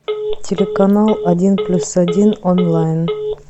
телеканал один плюс один онлайн